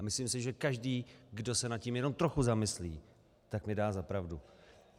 A myslím si, že každý, kdo se nad tím jenom trochu zamyslí, tak mi dá za pravdu.